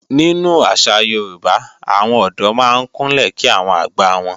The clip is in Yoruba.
Nínú àṣà Yorùbá, àwọn ọ̀dọ́ máa ń Kúnlẹ̀ kí àwọn àgbà wọn.